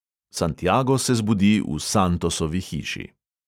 Santiago se zbudi v santosovi hiši.